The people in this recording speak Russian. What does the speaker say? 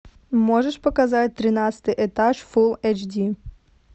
можешь показать тринадцатый этаж фул эйч ди